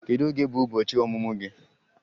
Kedu oge bụ ụbọchị ọmụmụ gị?